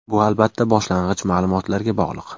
Bu albatta boshlang‘ich ma’lumotlarga bog‘liq.